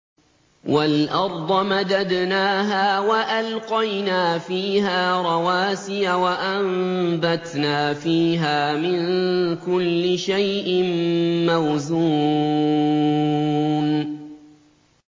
وَالْأَرْضَ مَدَدْنَاهَا وَأَلْقَيْنَا فِيهَا رَوَاسِيَ وَأَنبَتْنَا فِيهَا مِن كُلِّ شَيْءٍ مَّوْزُونٍ